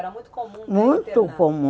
Era muito comum? Muito comum.